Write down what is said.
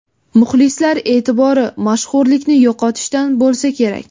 Muxlislar e’tibori, mashhurlikni yo‘qotishdan bo‘lsa kerak.